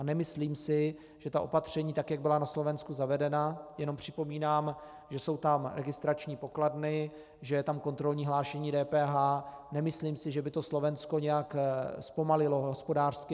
A nemyslím si, že ta opatření, tak jak byla na Slovensku zavedena - jenom připomínám, že jsou tam registrační pokladny, že je tam kontrolní hlášení DPH - nemyslím si, že by to Slovensko nějak zpomalilo hospodářsky.